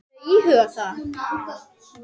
Ertu að íhuga það?